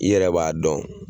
I yɛrɛ b'a dɔn